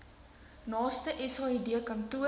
naaste said kantoor